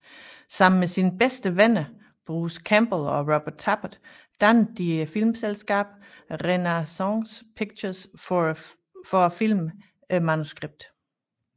Sammen med sine bedste venner Bruce Campbell og Robert Tapert dannede de filmselskabet Renaissance Pictures for at filme manuskriptet